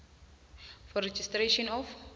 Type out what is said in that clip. for registration of